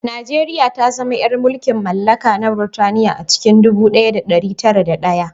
Najeriya ta zama ‘yar mulkin mallaka na Burtaniya a cikin ɗubu ɗaya da ɗari tara da ɗaya